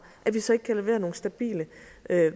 at vi så ikke kan levere nogle stabile